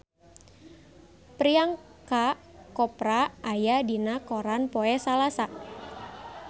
Priyanka Chopra aya dina koran poe Salasa